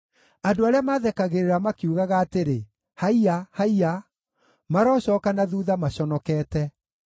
Andũ arĩa mathekagĩrĩra makiugaga atĩrĩ, “Haiya! Haiya!” marocooka na thuutha maconokete.